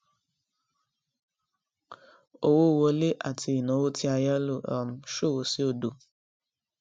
owó wọlé àti ináwó tí a yá lò um ṣòwò sí òdo